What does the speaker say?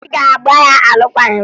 Ị ga-agba ya alụkwaghị m!